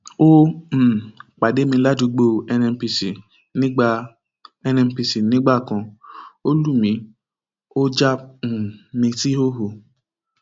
ó um pàdé mi ládùúgbò nnpc nígbà nnpc nígbà kan ó lù mí ó já um mi síhòhò